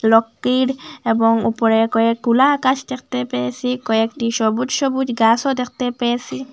রকটির এবং উপরে কয়েকগুলা আকাশ দেখতে পেয়েসি কয়েকটি সবুজ সবুজ গাসও দেখতে পেয়েসি।